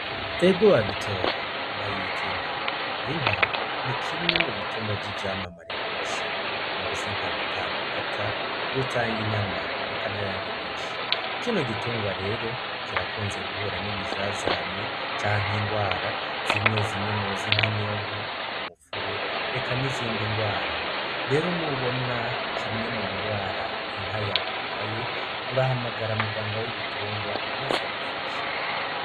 Ebgo babitoye bayita inka inka ni kimwe mu bitungwa vy'ivyamamare kw'isi mu zi inka rutangamata urutanga inyama eka na yandi menshi kino gitungwa rero kirakunze guhura n'ibizazane canke ingwara zimwe zimwe mu zi nk'inyonko wo mupfube ekanize indi ngwara rero ni ubona kimwe mu ngwara inka yawe irwaye urahamagara muganga w'ibitungwa, maze agufasha.